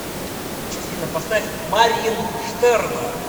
афина поставь марьин штерна